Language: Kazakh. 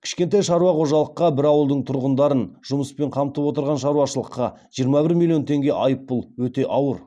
кішкентай шаруа қожалыққа бір ауылдың тұрғындарын жұмыспен қамтып отырған шаруашылыққа жиырма бір миллион теңге айыппұл өте ауыр